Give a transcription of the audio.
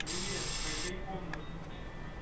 привет согрей комнату